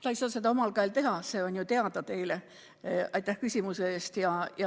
Laps ei saa seda omal käel teha, see on ju teile teada.